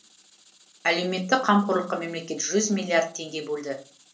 әлеуметтік қамқорлыққа мемлекет жүз миллиард теңге бөлді